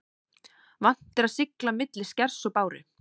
Vant er að sigla milli skers og báru.